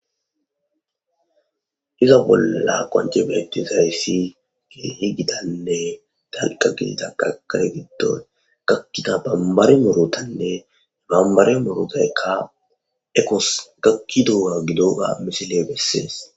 iza bolla qonce beettizayssi gii gidanne dalqa giditan qakare giddon gakkida bambare morotanne bambare morotaykka ekos gakki dua gidoga misile bessees